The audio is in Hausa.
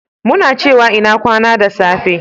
muna cewa "ina kwana" da safe